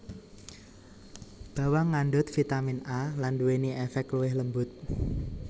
Bawang ngandhut vitamin A lan nduwèni èfèk luwih lembut